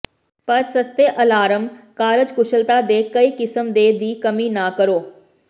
ਪਰ ਸਸਤੇ ਅਲਾਰਮ ਕਾਰਜਕੁਸ਼ਲਤਾ ਦੇ ਕਈ ਕਿਸਮ ਦੇ ਦੀ ਕਮੀ ਨਾ ਕਰੋ